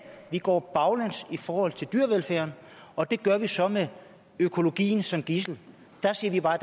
vi går baglæns i forhold til dyrevelfærden og det gør vi så med økologien som gidsel der siger vi bare